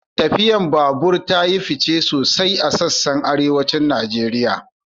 Tafiyar babura ta yi fice sosai a sassan Arewacin Najeriya